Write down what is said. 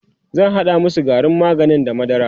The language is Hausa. zan hada masu garin maganin da madara